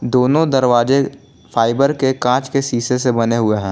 दोनों दरवाजे फाइबर के कांच के शीशे से बने हुए हैं।